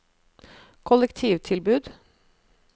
kollektivtilbud